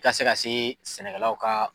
I ka se ka se sɛnɛkɛlaw ka